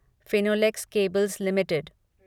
Finolex cables limited